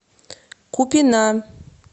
купина